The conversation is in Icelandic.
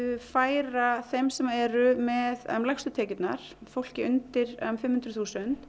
færa þeim sem eru með lægstu tekjurnar fólki undir fimm hundruð þúsund